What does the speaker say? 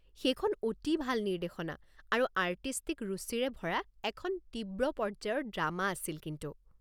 সেইখন অতি ভাল নিৰ্দেশনা আৰু আৰ্টিষ্টিক ৰুচিৰে ভৰা এখন তীব্ৰ পৰ্য্যায়ৰ ড্ৰামা আছিল কিন্তু।